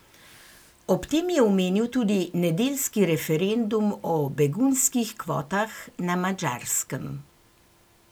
Ob tem je omenil tudi nedeljski referendum o begunskih kvotah na Madžarskem.